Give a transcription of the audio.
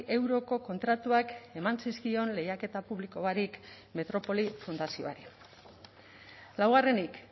euroko kontratuak eman zizkion lehiaketa publiko barik metropoli fundazioari laugarrenik